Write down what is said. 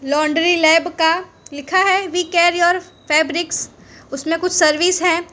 Laundry lab का लिखा है वी केयर योर फैब्रिक्स उसमें कुछ सर्विस है।